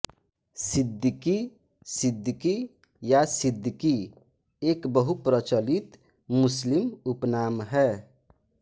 सिद्दीकी सिद्दीक़ी या सिद्दिकी एक बहुप्रचलित मुस्लिम उपनाम है